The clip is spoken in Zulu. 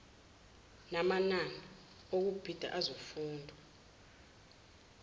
namanani okubhida azokufundwa